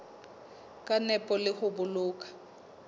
ka nepo le ho boloka